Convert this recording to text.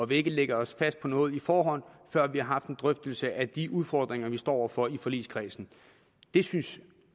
vil ikke lægge os fast på noget på forhånd før vi har haft en drøftelse af de udfordringer vi står over for i forligskredsen det synes